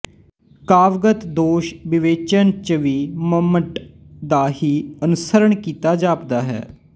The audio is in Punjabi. ਕਾਵਿਗਤ ਦੋਸ਼ਵਿਵੇਚਨ ਚ ਵੀ ਮੰਮਟ ਦਾ ਹੀ ਅਨੁਸਰਣ ਕੀਤਾ ਜਾਪਦਾ ਹੈ